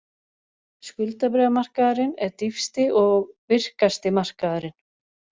Skuldabréfamarkaður er dýpsti og virkasti markaðurinn